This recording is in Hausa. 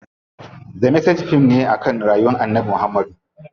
The Message fim ne akan rayuwar Annabi Muhammad.